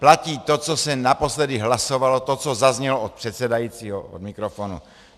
Platí to, co se naposledy hlasovalo, to, co zaznělo od předsedajícího od mikrofonu.